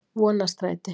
Vonarstræti